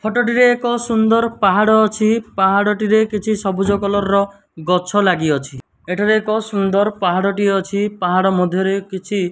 ଫଟ ଟିରେ ଏକ ସୁନ୍ଦର ପାହାଡ଼ ଅଛି। ପାହାଡ଼ ଟିରେ କିଛି ସବୁଜ କଲର୍ ର ଗଛ ଲାଗିଅଛି। ଏଠାରେ ଏକ ସୁନ୍ଦର ପାହାଡ଼ ଟିଏ ଅଛି। ପାହାଡ଼ ମଧ୍ୟରେ କିଛି --